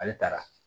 Ale taara